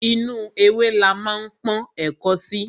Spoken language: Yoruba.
Inú ewé la ma ń pọ́n ẹ̀ko sí.